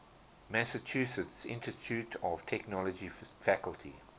massachusetts institute of technology faculty